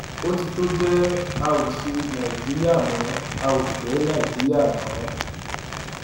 ó ti tó gẹẹ a ó ṣe nàìjíríà mo a ò fẹ nàìjíríà mọ